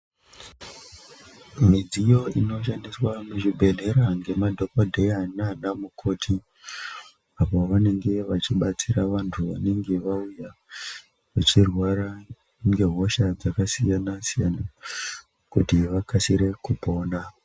Midziyo inoshandiswa muzvibhehleya ngemadhokodheya nanamukoti apo vanenge vachibatsira vanhu vanenge vauya vechirwara ngehosha dzakasiyanasiyana kuti vakasire kupona.